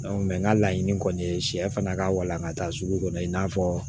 n ka laɲini kɔni ye sɛ fana ka walankata sugu kɔnɔ i n'a fɔ